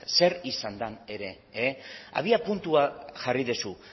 zer izan den ere abiapuntua jarri duzu